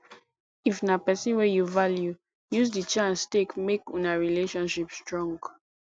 if na person wey you value use di chance take make una relationship strong